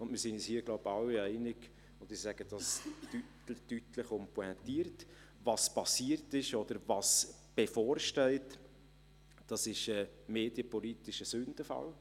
Ich glaube, wir sind uns hier alle einig, und ich sage dies deutlich und pointiert: Was passiert ist oder bevorsteht, ist medienpolitisch ein Sündenfall.